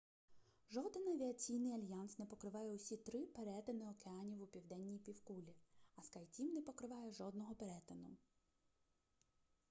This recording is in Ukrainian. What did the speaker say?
жоден авіаційний альянс не покриває усі три перетини океанів у південній півкулі а скайтім не покриває жодного перетину